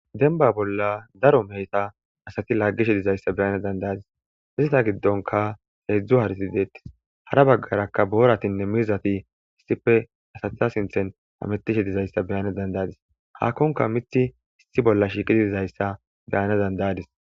denba bolla daro meheta asati laaggishe dizayssa beyane dandayadis izita giddonka heedzdzu harisi deettis hara baggarakka booratinne mizati issife asatha sinthen ametishe dizayssa beyane dandayadis haakkonka mithi issi bolla shiiqii dizayssa beyane dandayadis